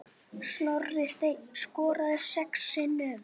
Snorri Steinn skoraði sex sinnum.